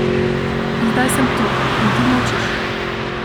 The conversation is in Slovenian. In zdaj sem tu, in ti molčiš.